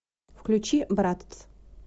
включи брат